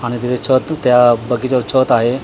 आणि त्याच्यावर तू त्या बगीचा आहे.